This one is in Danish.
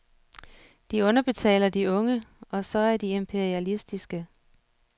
De underbetaler de unge, og så er de imperialistiske.